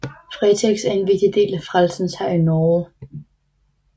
Fretex er en vigtig del af Frelsens Hær i Norge